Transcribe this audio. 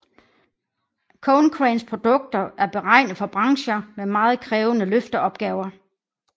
Konecranes produkter er beregnet for brancher med meget krævende løfteopgaver